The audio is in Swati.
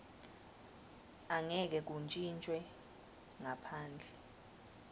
angeke kuntjintjwe ngaphandle